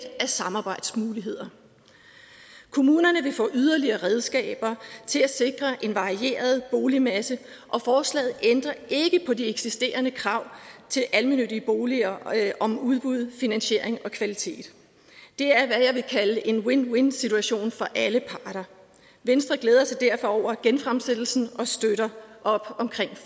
af samarbejdsmuligheder kommunerne vil få yderligere redskaber til at sikre en varieret boligmasse og forslaget ændrer ikke på de eksisterende krav til almennyttige boliger om udbud finansiering og kvalitet det er hvad jeg vil kalde en win win situation for alle parter venstre glæder sig derfor over genfremsættelsen og støtter op